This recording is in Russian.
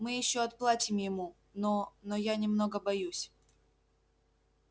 мы ещё отплатим ему но но я немного боюсь